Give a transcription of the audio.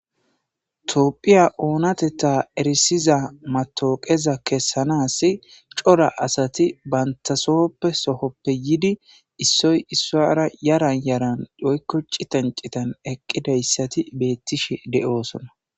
toophiya oonateta erisiza matooqeza kessanaas cora asati bantasohoppe sohoppe yidi issoy issara yaran yaran doykoci tancitan eqqidayssati beettishe de7oosona